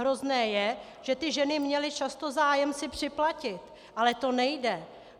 Hrozné je, že ty ženy měly často zájem si připlatit, ale to nejde.